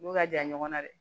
N'u ka jan ɲɔgɔnna